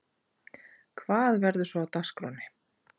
Hvað verður svo á dagskránni?